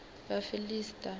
vhafiḽisita